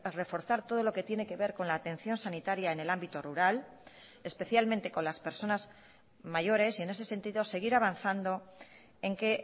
reforzar todo lo que tiene que ver con la atención sanitaria en el ámbito rural especialmente con las personas mayores y en ese sentido seguir avanzando en que